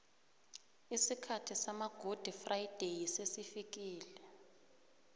isikhathi sama gudi frayideyi sesifikile